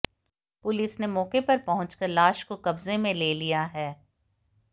police ने मौके पर पहुंचकर लाश को कब्जे में ले लिया है